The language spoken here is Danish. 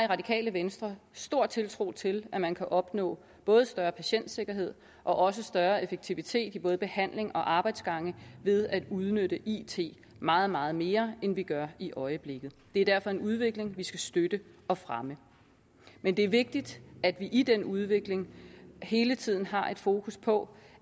radikale venstre stor tiltro til at man kan opnå både større patientsikkerhed og også større effektivitet i både behandling og arbejdsgange ved at udnytte it meget meget mere end vi gør i øjeblikket det er derfor en udvikling vi skal støtte og fremme men det er vigtigt at vi i den udvikling hele tiden har et fokus på